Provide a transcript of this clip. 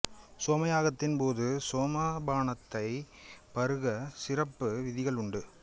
சோமயாகத்தின் போது சோம பானத்தை பருக சிறப்பு விதிகள் உண்டு